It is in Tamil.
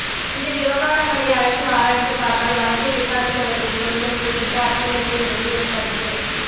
இந்த விவகாரங்களை அலசி ஆராய்ந்து பார்த்தால் வழக்கை விசாரித்தவர்கள் சொல்லும் கூற்றுக்கு அர்த்தமில்லை என்பது என் கருத்து